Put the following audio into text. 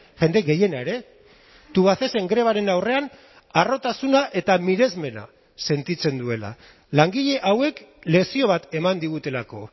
jende gehiena ere tubacexen grebaren aurrean harrotasuna eta miresmena sentitzen duela langile hauek lezio bat eman digutelako